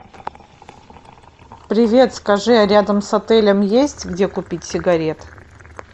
привет скажи а рядом с отелем есть где купить сигарет